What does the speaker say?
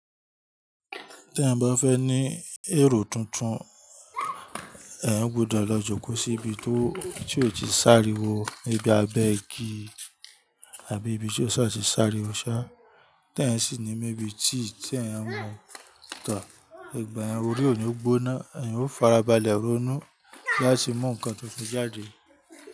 Tí ẹ̀yan bá fẹ́ ní èrò tuntun, ẹ̀yán gbúdọ̀ lọ jókòó sí ibi tí ó ti sáriwo, ni bí i abẹ́ igi àbí ibi tí ó ṣà ti sáriwo sà Tí èèyàn sì ní maybe tea tí èèyàn n mu, igba yen orí ò ní gboná, èèyàn o farabalẹ̀ ronú láti mú nǹkan tuntun jáde.